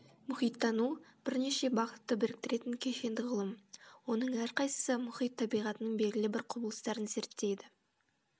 мұхиттану бірнеше бағытты біріктіретін кешенді ғылым оның әрқайсысы мұхит табиғатының белгілі бір құбылыстарын зерттейді